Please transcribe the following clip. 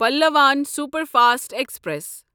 Pallavan superfast express